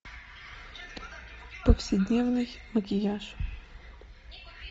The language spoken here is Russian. повседневный макияж